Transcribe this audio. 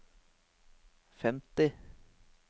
femti